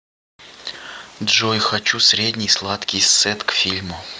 джой хочу средний сладкий сет к фильму